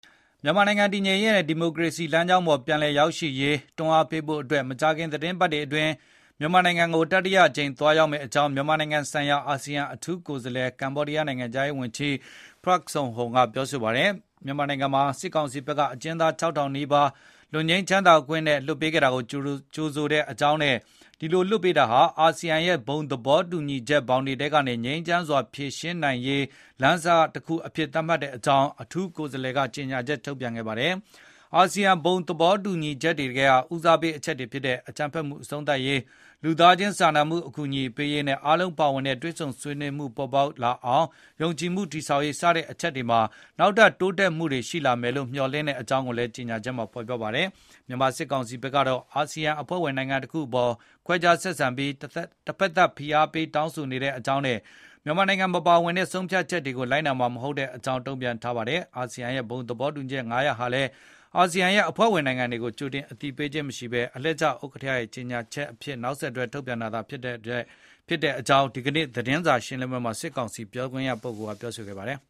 မြန်မာနိုင်ငံတည်ငြိမ်ရေးနဲ့ ဒီမိုကရေစီလမ်းကြောင်းပေါ် ပြန်လည်ရောက်ရှိရေး တွန်းအားပေးဖို့ မကြာခင် သီတင်းပတ်တွေအတွင်း မြန်မာနိုင်ငံကို တတိယအကြိမ် သွားရောက်မယ့်အကြောင်း မြန်မာနိုင်ငံဆိုင်ရာ အာဆီယံအထူးကိုယ်စားလှယ် ကမ္ဘောဒီးယားနိုင်ငံခြားရေးဝန်ကြီး Prak Sokhonn က ပြောဆိုပါတယ်။ မြန်မာနိုင်ငံမှာ စစ်ကောင်စီဘက်က အကျဉ်းသား ၆,၀၀၀ နီးပါး လွတ်ငြိမ်းချမ်းသာခွင့်နဲ့ လွှတ်ပေးခဲ့တာကို ကြိုဆိုတဲ့အကြောင်းနဲ့ ဒီလို လွှတ်ပေးတာဟာ အာဆီယံရဲ့ ဘုံသဘောတူညီချက် ဘောင်တွေထဲကနေ ငြိမ်းချမ်းစွာ အဖြေရှာနိုင်ရေး လမ်းစတခုအဖြစ် သတ်မှတ်တဲ့အကြောင်း အထူးကိုယ်စားလှယ် Prak Sokhonn ကြေညာချက် ထုတ်ပြန်ပါတယ်။ အာဆီယံ ဘုံသဘောတူညီချက်တွေထဲက ဦးစားပေးအချက်တွေဖြစ်တဲ့ အကြမ်းဖက်မှုအဆုံးသတ်ရေး၊ လူသားချင်း စာနာမှုအကူအညီပေးရေးနဲ့ အားလုံးပါဝင်နိုင်တဲ့ တွေ့ဆုံဆွေးနွေးမှုတွေ ပေါ်ပေါက်လာအောင် ယုံကြည်မှုတည်ဆောက်ရေး စတဲ့အချက်တွေမှာ နောက်ထပ် တိုးတက်မှုတွေ ရှိလာမယ်လို့ မျှော်လင်တဲ့အကြောင်း ကြေညာချက်မှာ ဖေါ်ပြပါတယ်။ မြန်မာစစ်ကောင်စီဘက်ကတော့ အာဆီယံဟာ အဖွဲ့ဝင်နိုင်ငံတခုအပေါ် ခွဲခြားဆက်ဆံပြီး တဖက်သတ်ဖိအားပေး တောင်းဆိုနေတဲ့အကြောင်းနဲ့ မြန်မာနိုင်ငံမပါဝင် တဲ့ ဆုံးဖြတ်ချက်တွေကို လိုက်နာမှာမဟုတ်တဲ့အကြောင်း တုံ့ပြန်ထားပါတယ်။ အာဆီယံရဲ့ ဘုံသဘောတူညီချက် ၅ ရပ်ဟာလည်း အာဆီယံအဖွဲ့ဝင်နိုင်ငံတွေကို ကြိုတင်အသိပေးခြင်းမရှိဘဲ အလှည့်ကျဥက္ကဋ္ဌရဲ့ ကြေညာချက်အဖြစ် နောက်ဆက်တွဲထွက်လာတဲ့အချက်တွေသာ ဖြစ်တဲ့အကြောင်း ဒီနေ့ သတင်းစာရှင်းလင်းပွဲ မှာ စစ်ကောင်စီပြောခွင့်ရက ပြောဆိုသွားပါတယ်